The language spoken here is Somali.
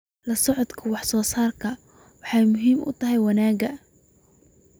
La socodka wax soo saarku waxay muhiim u tahay wanaagga.